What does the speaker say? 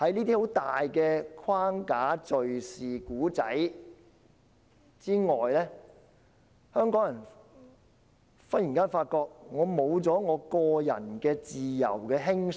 但是，在這些框架、敍事及故事之下，香港人竟突然發覺失去了享有個人自由的輕鬆。